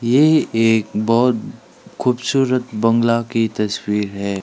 ये एक बहुत खूबसूरत बंगला की तस्वीर है।